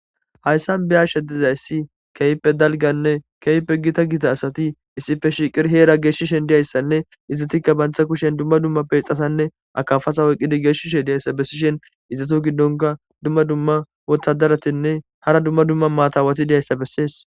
Hayssan be'ashe diza issi keehippe dalganne keehippe gita gita asati issippe shiiqidi heera geeshshishen diya assanne izzatikka bantha kushen dumma dumma peexasanne akafasa woyqqidi geeshshishe diya issa bessishen izatu giddonka dumma dumma wotadaratinne hara dumma dumma maatawati diya issa bessees.